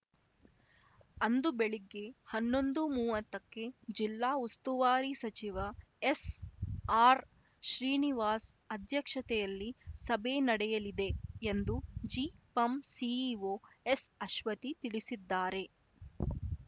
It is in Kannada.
ಅಂದು ಬೆಳಿಗ್ಗೆ ಹನ್ನೊಂದುಮುವತ್ತಕ್ಕೆ ಜಿಲ್ಲಾ ಉಸ್ತುವಾರಿ ಸಚಿವ ಎಸ್‌ಆರ್‌ಶ್ರೀನಿವಾಸ್ ಅಧ್ಯಕ್ಷತೆಯಲ್ಲಿ ಸಭೆ ನಡೆಯಲಿದೆ ಎಂದು ಜಿಪಂ ಸಿಇಒ ಎಸ್‌ಅಶ್ವತಿ ತಿಳಿಸಿದ್ದಾರೆ